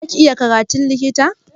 Za ki iya karatun likita?